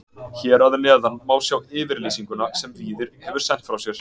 Hér að neðan má sjá yfirlýsinguna sem Víðir hefur sent frá sér.